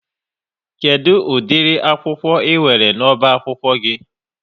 Kedụ ụdịri akwụkwọ ị nwere n'ọba akwụkwọ gị?